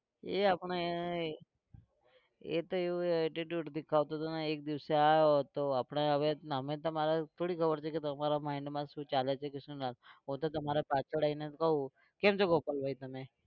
એ આપણે એ એ તો એવું attitude દેખાવતો હતો ને એક દિવસ આવ્યો તો આપણે હવે અમે તમારા થોડી ખબર છે કે તમારા mind માં શું ચાલે છે કે શું નાં હું તો તમારા પાછળ આવીને કહું કેમ છો ગોપાલભાઈ તમે?